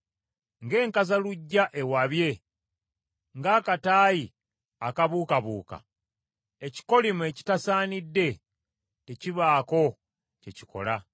Ng’enkazaluggya ewabye, ng’akataayi akabuukabuuka, ekikolimo ekitasaanidde tekibaako kye kikola.